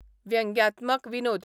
व्यंग्यात्मक विनोद